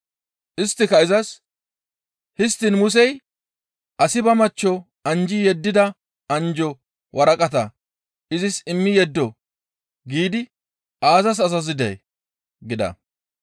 Isttika izas, «Histtiin Musey, ‹Asi ba machcho anjji yeddida anjjo waraqata izis immi yeddo› giidi aazas azazidee?» gida.